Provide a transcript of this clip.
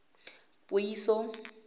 puiso